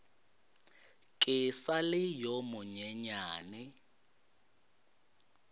ke sa le yo monyenyane